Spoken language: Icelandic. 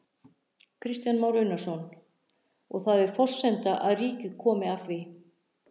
Kristján Már Unnarsson: Og það er forsenda að ríkið komi að því?